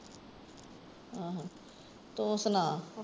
ਅਹ ਤੂੰ ਸੁਣਾ।